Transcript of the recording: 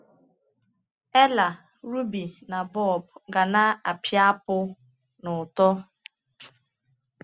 Ella, Ruby, na Bob ga na-apịapụ n’ụtọ.